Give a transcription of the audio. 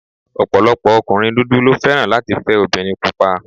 Ọ̀pọ̀lọpọ̀ ọkùnrin dúdú ló fẹ́ràn láti fẹ́ obìnrin pupa